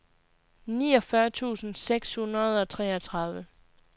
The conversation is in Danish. niogfyrre tusind seks hundrede og treogtredive